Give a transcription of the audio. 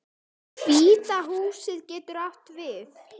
Hvíta húsið getur átt við